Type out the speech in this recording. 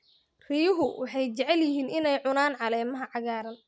Riyuhu waxay jecel yihiin inay cunaan caleemaha cagaaran.